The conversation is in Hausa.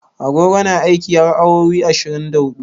Agogo na aiki har awowi ashirin da hudu.